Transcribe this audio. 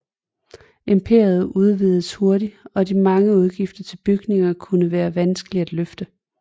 Imperiet udvidedes hurtigt og de mange udgifter til bygninger kunne være vanskelige at løfte